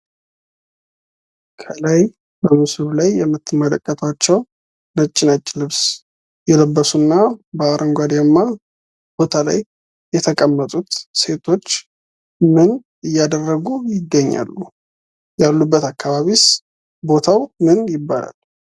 ከላይ በምስሉ ላይ የምትመለከቷቸው ነጭ ነጭ ልብስ የለበሱና በአረንጓዴማ ቦታ ላይ የተቀመጡት ሴቶች ምን እያደረጉ ይገኛሉ? ያሉበት አካባቢስ ቦታው ምን ይባላል?